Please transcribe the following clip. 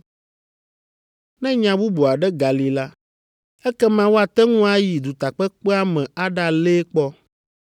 Ne nya bubu aɖe gali la, ekema woate ŋu ayi dutakpekpea me aɖalée kpɔ.